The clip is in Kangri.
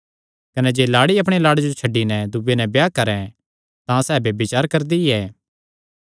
कने जे लाड़ी अपणे लाड़े जो छड्डी नैं दूये नैं ब्याह करैं तां सैह़ भी ब्यभिचार करदी ऐ